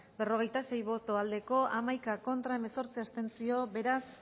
berrogeita sei bai hamaika ez hemezortzi abstentzio beraz